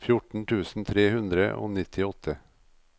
fjorten tusen tre hundre og nittiåtte